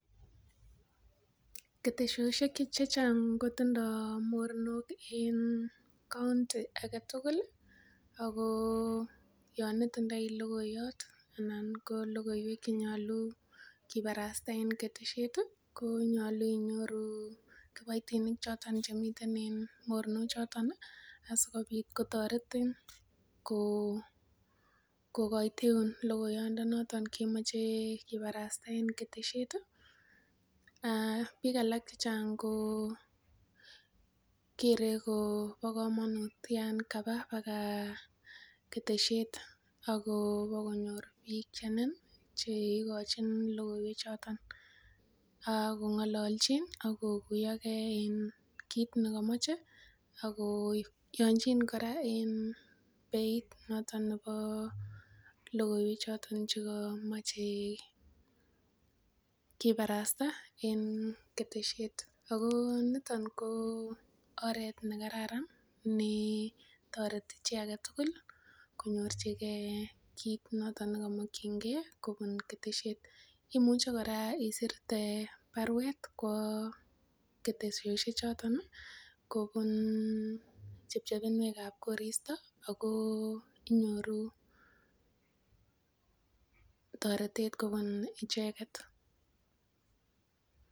Ketesosiek chechang kotindoo mornok en county aketugul ih ako yon itindoi logoiyot ana ko lokoiwek chenyolu kibarasta en ketesiet ih konyolu inyoru kiboitinik choton chemiten en mornok choton asikobit kotoretin ko kokoiteun logoiyot ndoton kemoche kibarasta en ketesiet ih, biik alak chechang kokere kobo komonut yan kaba baka ketesiet ak bokonyor biik chenin cheigochin lokoiwek choton ak kong'olonchin ak kokuiyogee kit nekomoche ako yonchin kora beit noton nebo lokoiwek choton chekomoche kibarasta en ketesiet niton ko oret nekararan netoreti chi aketugul konyorchigee kit noton nekimokyingee kobun ketesiet imuche kora isirte baruet kwo ketesosiek choton kobun chepchepinwek ab koristo ako inyoru toretet kobun icheket